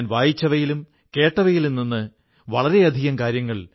ദീർഘകാലം ഖാദി ലാളിത്യത്തിന്റെ നിദർശനമായിരുന്നു